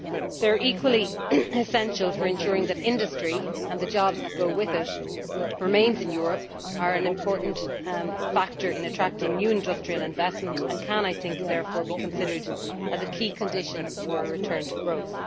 They are equally essential for ensuring that industry and the jobs that go with it remain in Europe and are an important factor in attracting new industrial investment, and they can therefore be considered as a key condition for a return to growth.